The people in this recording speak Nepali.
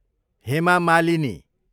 हेमा मालिनी